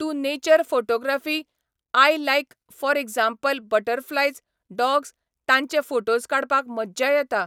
Two nature photography I like for example butterflies dogs तांचे photos काडपाक मज्जा येता.